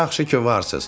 Yaxşı ki varsız.